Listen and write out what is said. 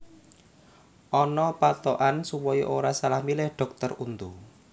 Ana pathokan supaya ora salah milih dhokter untu